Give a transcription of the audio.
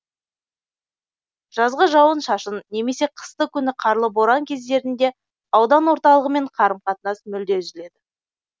жазғы жауын шашын немесе қысты күні қарлы боран кездерінде аудан орталығымен қарым қатынас мүлде үзіледі